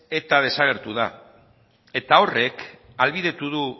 eta desagertu da eta horrek ahalbidetu du